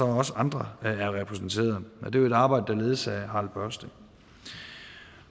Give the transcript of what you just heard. også andre er repræsenteret og det er et arbejde der ledes af harald børsting